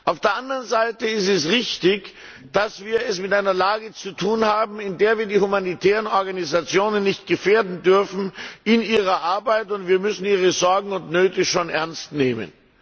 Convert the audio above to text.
Auf der anderen Seite ist es richtig, dass wir es mit einer Lage zu tun haben, in der wir die humanitären Organisationen nicht in ihrer Arbeit gefährden dürfen. Wir müssen ihre Sorgen und Nöte schon ernst nehmen.